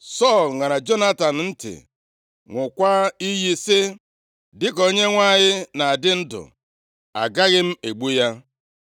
Sọl ṅara Jonatan ntị ṅụọkwa iyi sị, “Dịka Onyenwe anyị na-adị ndụ, agaghị egbu ya.”